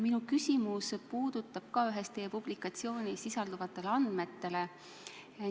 Minu küsimus puudutab ühes teie publikatsioonis sisalduvaid andmeid.